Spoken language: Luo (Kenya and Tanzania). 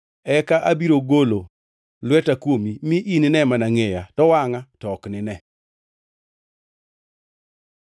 Eka abiro golo lweta kuomi mi inine mana ngʼeya, to wangʼa to ok nine.”